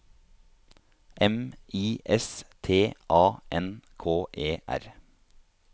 M I S T A N K E R